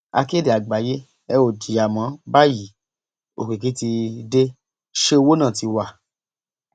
akéde àgbáyé ẹ ò jìyà mọ báyìí òkìkí tí dẹ ṣe òwò náà ti wá